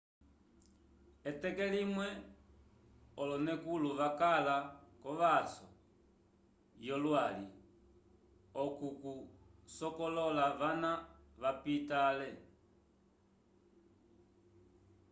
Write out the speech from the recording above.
eteke limwe olonekulo vakala ko vaso yo lwali oku oku sokolola vana vapita le